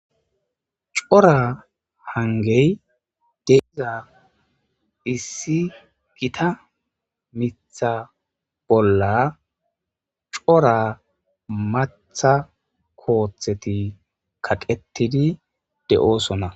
cora hangey deeza issi gita mitha bolla cora matha kootheti kaqettidi de7oosona